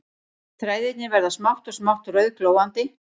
Þræðirnir verða smátt og smátt rauðglóandi